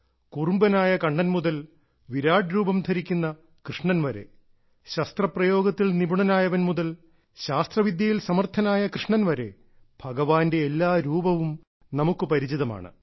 കുറുമ്പനായ കണ്ണൻ മുതൽ വിരാട് രൂപം ധരിക്കുന്ന കൃഷ്ണൻ വരെ ശസ്ത്ര പ്രയോഗത്തിൽ നിപുണനായവൻ മുതൽ ശാസ്ത്രവിദ്യയിൽ സമർഥനായ കൃഷ്ണൻ വരെ ഭഗവാന്റെ എല്ലാ രൂപവും നമുക്ക് പരിചിതമാണ്